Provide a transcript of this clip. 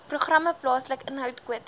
programme plaaslike inhoudkwotas